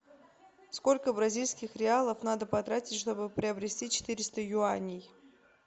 сколько бразильских реалов надо потратить чтобы приобрести четыреста юаней